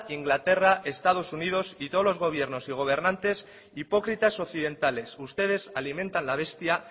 inglaterra estados unidos y todos los gobiernos y gobernantes hipócritas occidentales ustedes alimentan la bestia